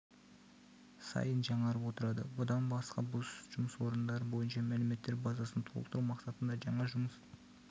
сайын жаңарып отырады бұдан басқа бос жұмыс орындары бойынша мәліметтер базасын толықтыру мақсатында жаңа жұмыс